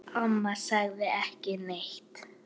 Amma sagði ekki neitt.